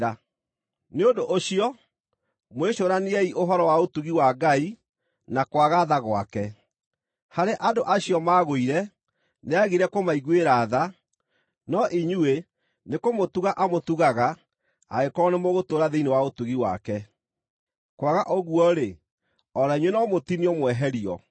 Nĩ ũndũ ũcio, mwĩcũraniei ũhoro wa ũtugi wa Ngai na kwaga tha gwake: harĩ andũ acio maagũire, nĩagire kũmaiguĩra tha, no inyuĩ, nĩkũmũtuga amũtugaga, angĩkorwo nĩmũgũtũũra thĩinĩ wa ũtugi wake. Kwaga ũguo-rĩ, o na inyuĩ no mũtinio mweherio.